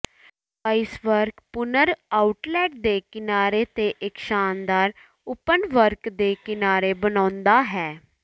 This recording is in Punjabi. ਡਿਵਾਈਸ ਪੁਨਰ ਆਉਟਲੈਟ ਦੇ ਕਿਨਾਰੇ ਤੇ ਇੱਕ ਸ਼ਾਨਦਾਰ ਓਪਨਵਰਕ ਦੇ ਕਿਨਾਰੇ ਬਣਾਉਂਦਾ ਹੈ